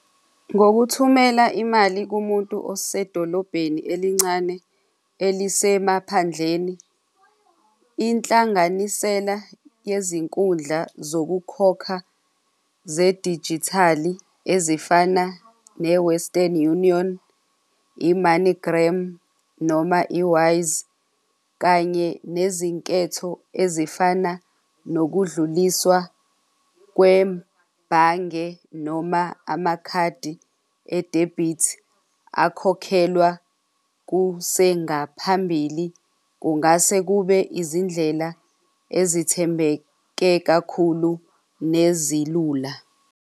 Ngokuthumela imali kumuntu osedolobheni elincane elisemaphandlene inhlanganisela yezinkundla zokukhokha zedijithali ezifana ne-Western Union, I-MoneyGram noma i-Wise kanye nezinketho ezifana nokudluliswa kwebhange noma amakhadi adebhithi akhokhelwa kusengaphambili. Kungase kube izindlela ezithembeke kakhulu nezilula.